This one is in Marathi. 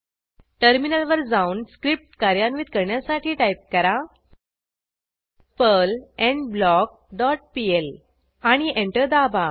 टर्मिनलवर जाऊन स्क्रिप्ट कार्यान्वित करण्यासाठी टाईप करा पर्ल एंडब्लॉक डॉट पीएल आणि एंटर दाबा